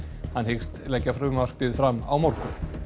hann hyggst leggja frumvarpið fram á morgun